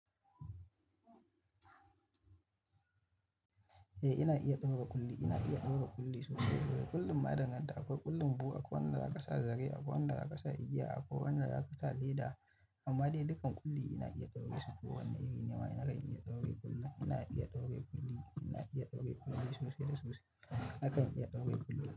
Eh ina iya ɗaura ƙulli, ina iya ɗaura ƙulli sosai. Ƙullin ma ya danganta, akwai ƙullin buhu, akwai wanda za ka sa zare, akwai wanda za ka sa igiya, akwai wanda za ka sa leda. Amma dai dukan ƙulli ina iya ɗaure su ko wane iri nima nakan iya ɗaure ƙulli. Ina iya ɗaure ƙulli, ina iya ɗaure ƙulli sosai da sosai. Nakan iya ɗaure ƙulli.